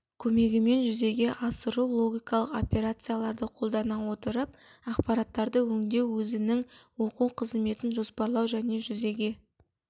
көмегімен жүзеге асыру логикалық операцияларды қолдана отырып ақпараттарды өңдеу өзінің оқу қызметін жоспарлау және жүзеге